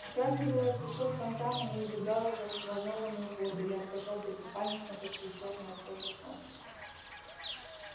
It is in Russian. вскакивала песок фонтаном и убегала в взволнованную воду ярко-желёлтый купальник на почти чёрной от солнца коже